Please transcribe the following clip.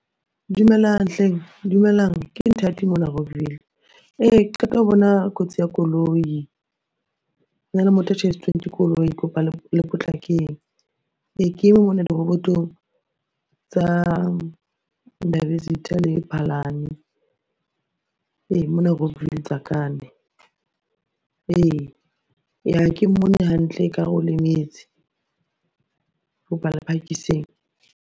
Dumelang hleng dumelang ke Nthati mona Rockville.Ee ke qeta ho bona kotsi ya koloi, hona le motho a tjhaisitsweng ke koloi ke kopa le potlakeng. Ee ke eme mona dirobotong tsa Ndabezitha le Phalane. Ee, mona Rockville Tsakane. Ee, ha ke mmone hantle, ekare o lemetse. Kopa le phakisang.